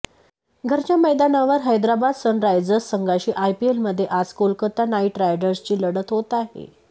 घरच्या मैदानावर हैदराबाद सनरायजर्स संघाची आयपीएलमध्ये आज कोलकाता नाईट रायडर्सशी लढत होत आहे